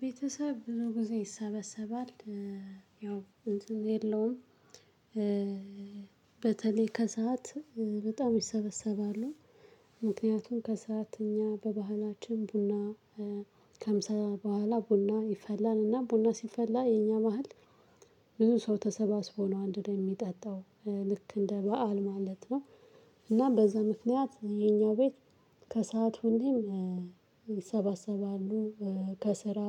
ቤተሰብ ብዙ ጊዜ ይሰበሰባል። ያው እንትን የለውም። በተለይ ከሰአት በጣም ይሰበሰባሉ። ምክንያቱም ከሰአት እኛ በባህላችን ቡና ከምሳ በኋላ ቡና ይፈላል እና ቡና ሲፈላ የኛ በሀል። ብዙ ሰው ተሰባስቦ ነው አንድ ላይ ሚጠጣው ልክ እንደ በዓል ማለት ነው። እና በዛ ምክንያት የኛ ቤት ከሰአት ሁሌም ይሰባሰባሉ ከስራ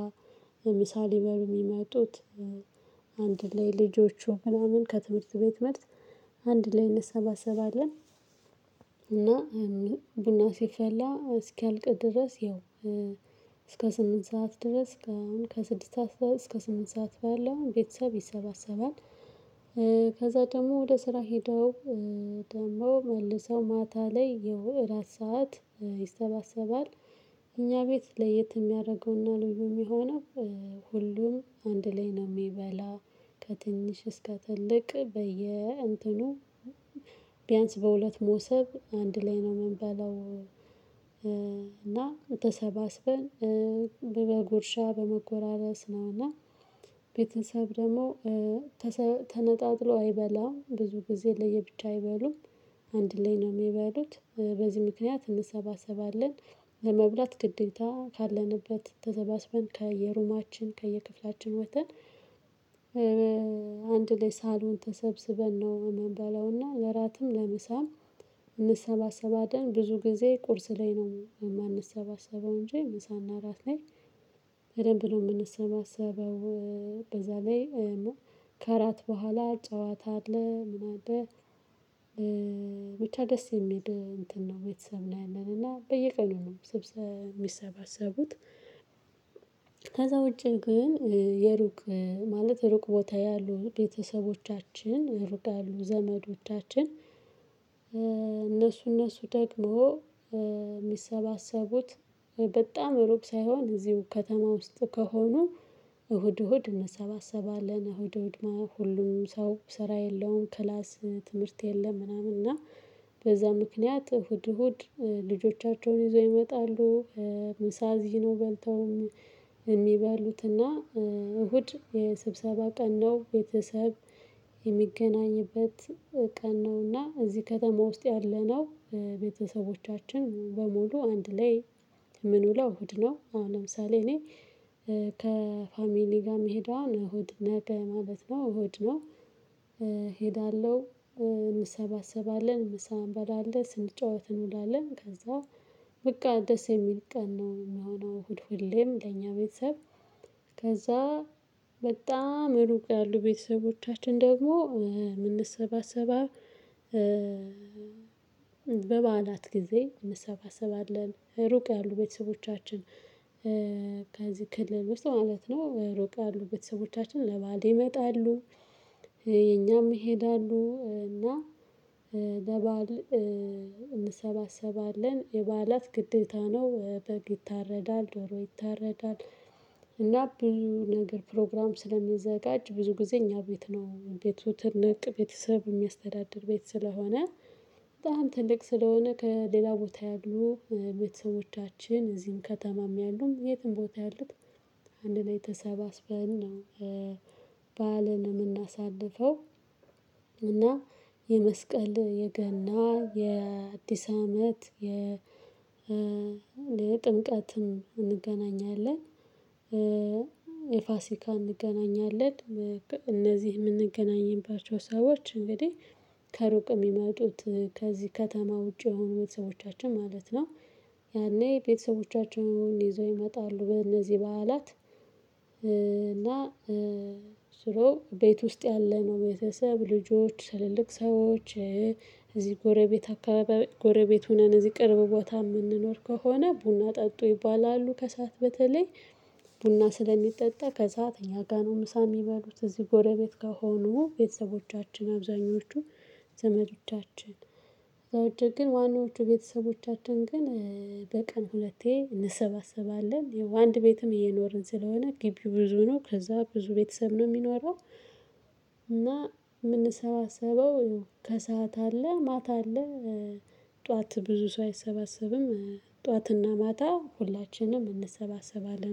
ምሳ ሊበሉ ሚመጡት። አንድ ላይ ልጆቹ ምናምን ከትምህርት ቤት መልስ አንድ ላይ እንሰባሰባለን። እና ቡና ሲፈላ እስኪያልቅ ድረስ ይኸው። እስከ ስምንት ሰዓት ድረስ ከአሁን ከስድስት ሰዓት እስከ ስምንት ሰዓት ባለው ቤተሰብ ይሰባሰባል። ከዛ ደግሞ ወደ ስራ ሄደው። ደግሞ መልሰው ማታ ላይ የወራት ሰዓት ይሰባሰባል። እኛ ቤት ለየት እሚያደርገው እና ልዩ እሚሆነው። ሁሉም አንድ ላይ ነው ሚበላ። ከትንሽ እስከ ትልቅ በየ እንትኑ። ቢያንስ በሁለት ሞሶብ አንድ ላይ ነው ምንበላው። እና ተሰባስበን በመጎ ጉርሻ በመጎራረስ ነው እና። ቤተሰብ ደግሞ ተሰ ተነጣጥሎ አይበላም ብዙ ጊዜ ለየብቻ አይበሉም። አንድ ላይ ነው ሚበሉት በዚህ ምክንያት እንሰባሰባለን። ለመብላት ግዴታ ካለንበት ተሰባስበን ከየሩማችን ከየክፍላችን ወጥተን። አንድ ላይ ሳሎን ተሰብስበን ነው እምንበላው እና ለራትም ለምሳም። እንሰባሰባለን ብዙ ጊዜ ቁርስ ላይ ነው የማንሰባሰበው እንጂ ምሳና እራት ላይ በደንብ ነው ምንሰባሰበው። በዛ ላይ ከአራት በኋላ ጨዋታ አለ ምን አለ? ብቻ ደስ የሚል እንትን ነው ቤተሰብ ላይ ያለን እና በየቀኑ ነው ስብሰ ሚሰባሰቡት። ከዛ ውጪ ግን የሩቅ ማለት ሩቅ ቦታ ያሉ ቤተሰቦቻችን ሩቅ ያሉ ዘመዶቻችን። እነሱ እነሱ ደግሞ ሚሰባሰቡት በጣም ሩቅ ሳይሆን እዚሁ ከተማ ውስጥ ከሆኑ። እሁድ እሁድ እንሰባሰባለን እሁድ እሁድ ሁሉም ሰው ስራ የለውም። ክላስ ትምህርት የለም ምናምን እና። በዛ ምክንያት እሁድ እሁድ ልጆቻቸውን ይዘው ይመጣሉ። ምሳ እዚህ ነው በልተውም እሚበሉትና እሁድ የስብሰባ ቀን ነው። ቤተሰብ እሚገናኝበት ቀን ነውና እዚህ ከተማ ውስጥ ያለነው ቤተሰቦቻችን በሙሉ አንድ ላይ። ምን ውለው እሁድ ነው አሁን ለምሳሌ እኔ ከፋሚሊ ጋር እምሄደው እሁድ ነገ ማለት ነው እሁድ ነው። እሄዳለሁ እንሰባሰባለን ምሳ እንበላለን ስንጫወት እንውላለን ከዛ። በቃ ደስ የሚል ቀን ነው እሚሆነው እሁድ ሁሌም ለኛ ቤተሰብ። ከዛ በጣም እሩቅ ያሉ ቤተሰቦቻችን ደግሞ ምንሰባሰባ በበዓላት ጊዜ እንሰባሰባለን። ሩቅ ያሉ ቤተሰቦቻችን። ከዚህ ክልል ውስጥ ማለት ነው ሩቅ ያሉ ቤተሰቦቻችን ለበአል ይመጣሉ። የኛም ይሄዳሉ እና ለበአል እንሰባሰባለን። የበዓላት ግድታ ነው በግ ይታረዳል ዶሮ ይታረዳል። እና ብዙ ነገር ፕሮግራም ስለሚዘጋጅ ብዙ ጊዜ እኛ ቤት ነው ቤቱ ትልቅ ቤተሰብ እሚያስተዳድር ቤት ስለሆነ። ትልቅ ስለሆነ ከሌላ ቦታ ያሉ ቤተሰቦቻችን እዚህም ከተማም ያሉም የትም ቦታ ያሉት አንድ ላይ ተሰባስበን ነው። በዓልን እምናሳልፈው። እና የመስቀል የገና የአዲስ አመት የጥምቀትም እንገናኛለን። የፋሲካ እንገናኛለን። እነዚህ እምንገናኝባቸው ሰዎች እንግዲህ ከሩቅ እሚመጡት ከዚህ ከተማ ውጪ የሆኑ ቤተሰቦቻቸን ማለት ነው። ያኔ ቤተሰቦቻቸውን ይዘው ይመጣሉ በእነዚህ በዓላት። እና ስለው ቤት ውስጥ ያለ ነው ቤተሰብ ልጆች ትላልቅ ሰዎች። እዚህ ጎረቤት አካባቢ ጎረቤት ሁነን እዚህ ቅርብ ቦታ ምንኖር ከሆነ ቡና ጠጡ ይባላሉ ከሰአት በተለይ። ቡና ስለሚጠጣ ከሰአት እኛ ጋር ነው ምሳ እሚበሉት እዚህ ጎረቤት ከሆኑ ቤተሰቦቻችን አብዛኞቹ። ዘመዶቻችን። ከዛ ውጪ ግን ዋናዎቹ ቤተሰቦቻችን ግን በቀን ሁለቴ እንሰባሰባለን። ይኸው አንድ ቤትም እየኖርን ስለሆነ ግቢው ብዙ ነው ከዛ ብዙ ቤተሰብ ነው እሚኖረው። እና እምንሰባሰበው ከሰአት አለ ማታ አለ። ጠዋት ብዙ ሰው አይሰባሰብም። ጠዋትና ማታ ሁላችንም እንሰባሰባለን